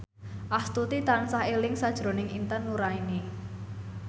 Astuti tansah eling sakjroning Intan Nuraini